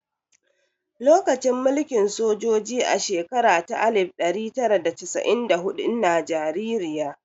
Lokacin mulkin sojoji a shekara ta alif ɗari tara da casa'in da huɗu ina jaririya